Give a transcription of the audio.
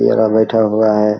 ये रहा बैठा हुआ है।